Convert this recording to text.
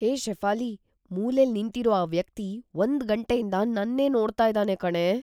ಹೇ ಶೆಫಾಲಿ, ಮೂಲೆಲ್ ನಿಂತಿರೋ ಆ ವ್ಯಕ್ತಿ ಒಂದ್ ಗಂಟೆಯಿಂದ ನನ್ನೇ ನೋಡ್ತಾ ಇದಾನೆ ಕಣೇ.